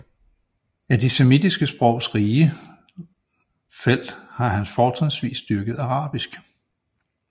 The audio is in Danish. Af de semitiske sprogs rige felt har han fortrinsvis dyrket arabisk